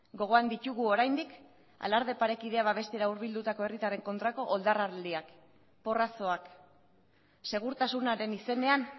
gogoan ditugu oraindik alarde parekidea babestera hurbildutako herritarren kontrako oldarraldiak porrazoak segurtasunaren izenean